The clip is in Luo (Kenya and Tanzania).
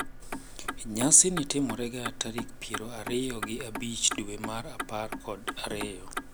Nyasini timorega tarik pier ariyo gi abich dwe mar apar kod ariyo.